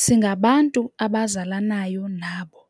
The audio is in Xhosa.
Singabantu abazalanayo nabo